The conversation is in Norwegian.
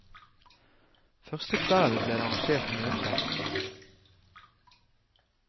Første kvelden ble det arrangert møte.